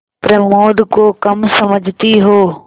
प्रमोद को कम समझती हो